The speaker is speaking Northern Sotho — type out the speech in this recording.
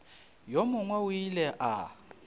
yo mongwe o ile a